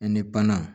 Ni bana